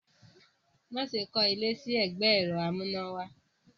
Má ṣe kọ́ ilé sí ẹgbẹ́ ẹ̀rọ amúnáwá!